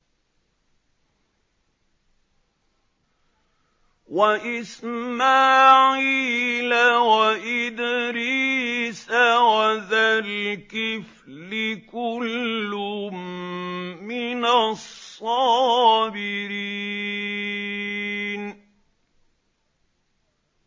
وَإِسْمَاعِيلَ وَإِدْرِيسَ وَذَا الْكِفْلِ ۖ كُلٌّ مِّنَ الصَّابِرِينَ